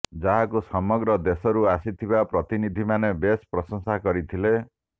ଯାହାକୁ ସମଗ୍ର ଦେଶରୁ ଆସିଥିବା ପ୍ରତିନିଧିମାନେ ବେଶ ପ୍ରଶଂସା କରିଥିଲେ